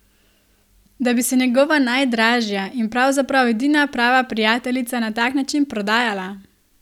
Da bi se njegova najdražja in pravzaprav edina prava prijateljica na tak način prodajala?